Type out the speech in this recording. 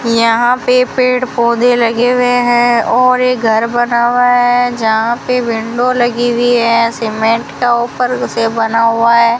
यहां पे पेड़ पौधे लगे हुए हैं और एक घर बना हुआ है जहां पे विंडो लगी हुई है सीमेंट का ऊपर से बना हुआ है।